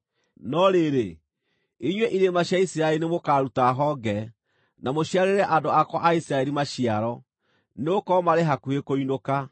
“ ‘No rĩrĩ, inyuĩ irĩma cia Isiraeli nĩmũkaruta honge, na mũciarĩre andũ akwa a Isiraeli maciaro, nĩgũkorwo marĩ hakuhĩ kũinũka.